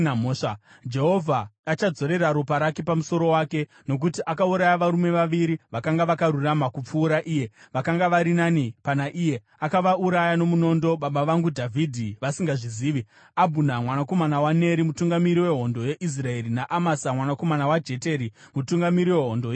Jehovha achadzorera ropa rake pamusoro wake, nokuti akauraya varume vaviri vakanga vakarurama kupfuura iye, vakanga vari nani pana iye, akavauraya nomunondo, baba vangu Dhavhidhi vasingazvizivi, Abhuna mwanakomana waNeri, mutungamiri wehondo yeIsraeri naAmasa mwanakomana waJeteri, mutungamiri wehondo yeJudha.